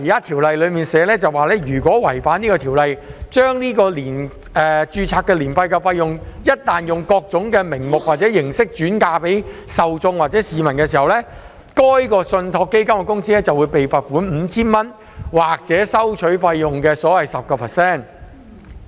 《條例草案》訂明，如果違反條例，將註冊年費用各種名目或形式轉嫁給受眾或市民，該信託基金公司便會被罰款 5,000 元或所收取費用的款額的 10%。